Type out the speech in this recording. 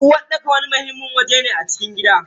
Uwarɗaka wani muhimmin waje ne a cikin gida.